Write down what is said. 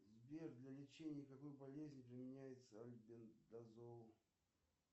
сбер для лечения какой болезни применяется альбендазол